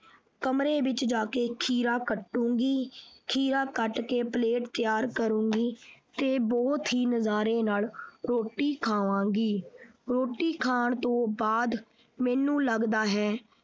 ਕਮਰੇ ਵਿੱਚ ਜਾ ਕੇ ਖੀਰਾ ਕੱਟੂੰਗੀ ਖੀਰਾ ਕੱਟ ਕੇ plate ਤਿਆਰ ਕਰੂੰਗੀ ਤੇ ਬਹੁਤ ਹੀ ਨਜ਼ਾਰੇ ਨਾਲ ਰੋਟੀ ਖਾਵਾਂਗੀ ਰੋਟੀ ਖਾਣ ਤੋਂ ਬਾਅਦ ਮੈਨੂੰ ਲਗਦਾ ਹੈ।